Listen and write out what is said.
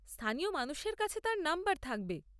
স্থানীয় মানুষের কাছে তাঁর নম্বর থাকবে।